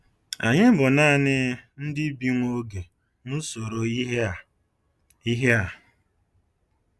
Anyị bụ naanị “ndị bi nwa oge” n’usoro ihe a. ihe a.